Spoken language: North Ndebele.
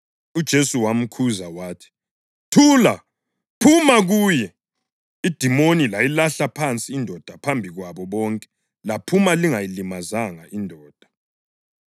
UJesu wamkhuza wathi, “Thula! Phuma kuye!” Idimoni layilahla phansi indoda phambi kwabo bonke laphuma lingayilimazanga indoda.